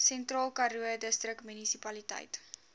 sentraalkaroo distriksmunisipaliteit